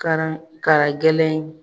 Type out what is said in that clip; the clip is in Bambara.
Ka na kana gɛlɛn